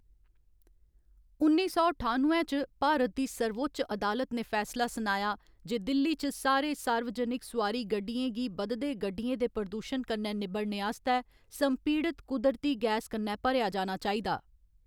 उन्नी सौ ठानुए च, भारत दी सर्वोच्च अदालत ने फैसला सुनाया जे दिल्ली च सारे सार्वजनक सोआरी गड्डियें गी बधदे गड्डियें दे प्रदूशन कन्नै निबड़नै आस्तै संपीड़ित कुदरती गैस कन्नै भरेआ जाना चाहिदा।